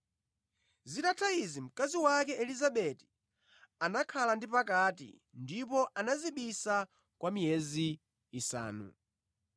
Zitatha izi, mkazi wake Elizabeti anakhala ndi pakati ndipo anadzibisa kwa miyezi isanu.